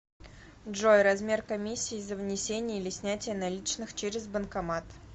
джой размер комиссии за внесение или снятие наличных через банкомат